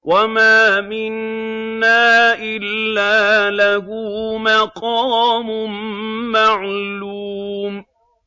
وَمَا مِنَّا إِلَّا لَهُ مَقَامٌ مَّعْلُومٌ